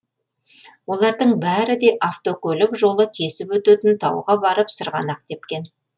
олардың бәрі де автокөлік жолы кесіп өтетін тауға барып сырғанақ тепкен